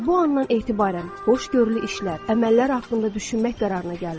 Elə bu andan etibarən xoşgörülü işlər, əməllər haqqında düşünmək qərarına gəlin.